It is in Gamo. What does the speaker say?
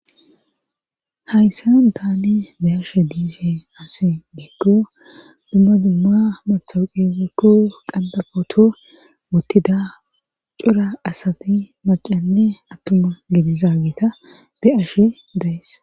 hayssan taane be ashe diise asi geekko dumma dumma mathouqe wokku qandapoto wottida cura asati macanne attuma ginizaabita be ashe daes